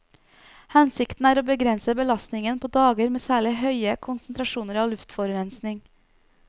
Hensikten er å begrense belastningen på dager med særlig høye konsentrasjoner av luftforurensing.